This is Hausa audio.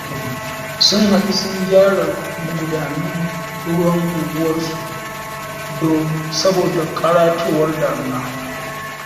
Sun haɗu sun gyara magudanan ruwan unguwarsu dom.. saboda ƙaratowar damina